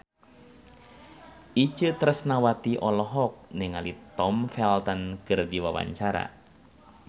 Itje Tresnawati olohok ningali Tom Felton keur diwawancara